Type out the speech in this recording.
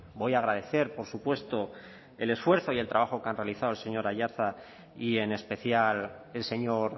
voy a agradecer por supuesto el esfuerzo y el trabajo que han realizado el señor aiartza y en especial el señor